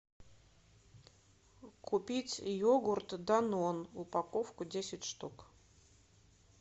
купить йогурт данон упаковку десять штук